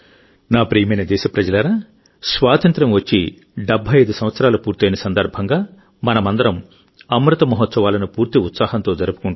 నా ప్రియమైన దేశప్రజలారాస్వాతంత్ర్యం వచ్చి 75 సంవత్సరాలు పూర్తయిన సందర్భంగామనమందరం అమృత మహోత్సవాలను పూర్తి ఉత్సాహంతో జరుపుకుంటున్నాము